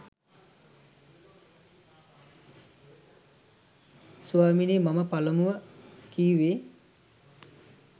ස්වාමීනි මම පළමුව කිවුවේ